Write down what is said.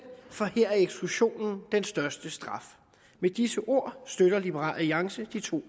for her er eksklusionen den største straf med disse ord støtter liberal alliance de to